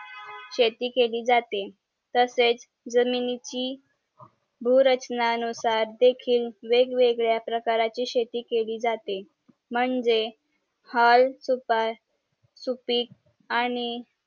शेती केली जाते तशेच जमिनीची भूरचना नुसार देखील वेगवेगळ्या प्रकारची शेती काली जाते म्हणजे हाल खुप सुपीक आणि